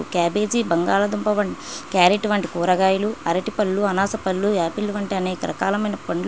Cabbage బంగాళాదుంప వంటి carrot వంటి కూరగాయలు అరటి పండ్లు అనాస పండ్లు యాపిల్ వంటి అనేకరకాలైన పండ్లు .